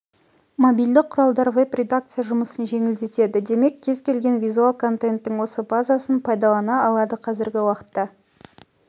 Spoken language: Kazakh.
мобильді құралдар веб-редакция жұмысын жеңілдетеді демек кез келген визуал контенттің осы базасын пайдалана алады қазіргі уақытта